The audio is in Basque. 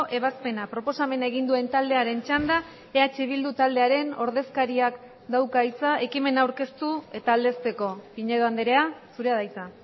ebazpena proposamena egin duen taldearen txanda eh bildu taldearen ordezkariak dauka hitza ekimena aurkeztu eta aldezteko pinedo andrea zurea da hitza